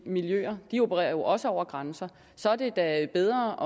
miljøer de opererer jo også over grænser så er det da bedre